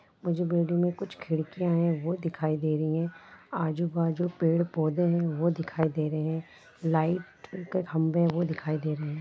वह जो बिल्डिंग में कुछ खिड़कियां है वह दिखाई दे रही है आजू बाजु पेड़ पौधे हैं वह दिखाई दे रह हैं लाइट के खंबे हैं वह दिखाई दे रहे हैं।